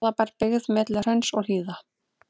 Garðabær, byggð milli hrauns og hlíða.